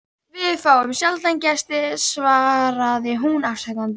Við fáum sjaldan gesti svaraði hún afsakandi.